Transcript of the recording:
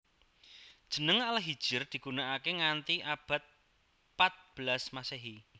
Jeneng Al Hijr digunakake nganti abad pat belas Masehi